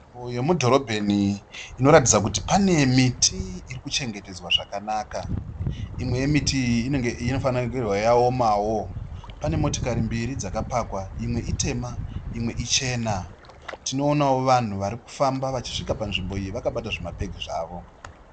Uyu mudhorobheni inoratidza kuti pane miti irikuchengetedzwa zvakanaka, imwe yemiti iyi ine inofanirwa kunga yaomawo pane motokari mbiri dzakapakwa imwe itema imwe ichena. Tinoonawo vanhu varikufamba vachisvika panzvimbo iyi vakabata zvimabhegi zvavo.